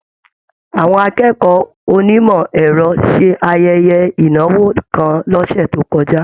Àwọn akẹ́kọ̀ọ́ onimọ ẹrọ ṣe ayẹyẹ ìnáwó kàn l'ọsẹ to kọjá.